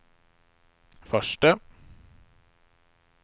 förste